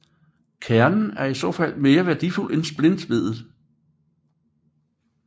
Kernen er i så fald mere værdifuld end splintveddet